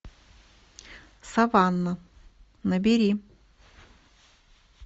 саванна набери